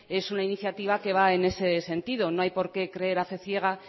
es una iniciativa que va en ese sentido no hay por qué creer a fe ciega